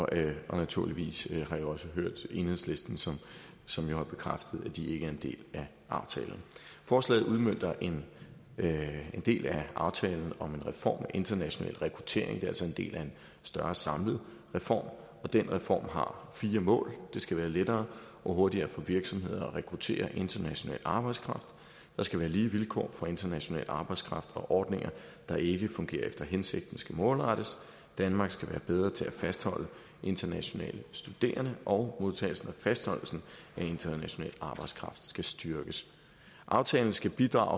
det og naturligvis har jeg også hørt enhedslisten som som jo har bekræftet at de ikke er en del af aftalen forslaget udmønter en del af aftalen om en reform international rekruttering det er altså en del af en større samlet reform og den reform har fire mål det skal være lettere og hurtigere for virksomheder at rekruttere international arbejdskraft der skal være lige vilkår for international arbejdskraft og ordninger der ikke fungerer efter hensigten skal målrettes danmark skal være bedre til at fastholde internationale studerende og modtagelsen og fastholdelsen af international arbejdskraft skal styrkes aftalen skal bidrage